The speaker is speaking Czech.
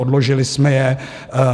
Odložili jsme je.